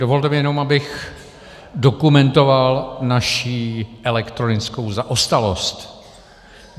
Dovolte mi jenom, abych dokumentoval naší elektronickou zaostalost.